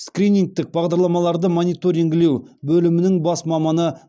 скринингтік бағдарламаларды мониторингілеу бөлімінің бас маманы